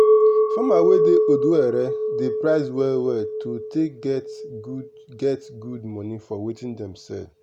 farmer wey dey odo ere dey price well well to take get good get good money for watin dem sell.